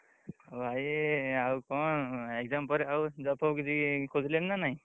ହଉ ଭାଇ ଆଉ କଣ exam ପରେ ଆଉ job ଫବ କିଛି ଖୋଜିଲଣି ନା ନାଇଁ?